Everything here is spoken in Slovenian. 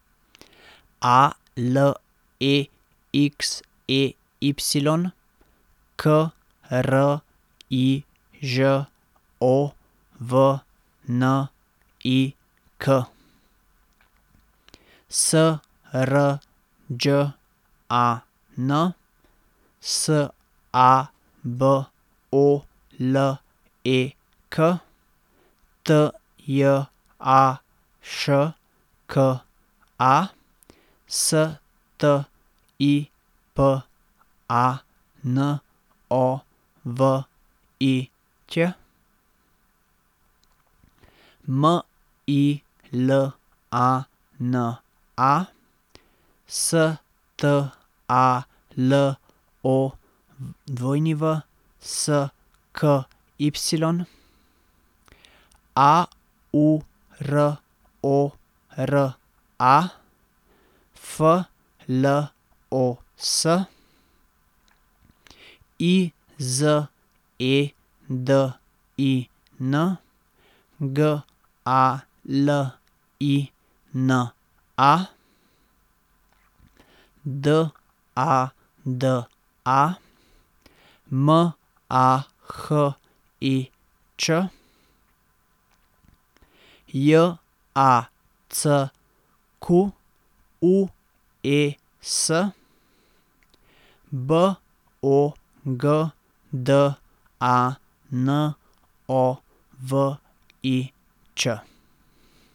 A L E X E Y, K R I Ž O V N I K; S R Đ A N, S A B O L E K; T J A Š K A, S T I P A N O V I Ć; M I L A N A, S T A L O W S K Y; A U R O R A, F L O S; I Z E D I N, G A L I N A; D A D A, M A H I Č; J A C Q U E S, B O G D A N O V I Ć.